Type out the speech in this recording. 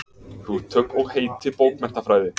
Hugtök og heiti bókmenntafræði.